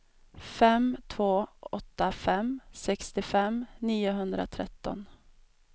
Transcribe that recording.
fem två åtta fem sextiofem niohundratretton